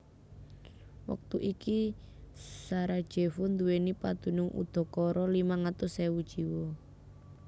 Wektu iki Sarajevo nduwèni padunung udakara limang atus ewu jiwa